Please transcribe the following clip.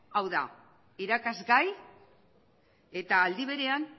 hau da irakasgai eta aldi berean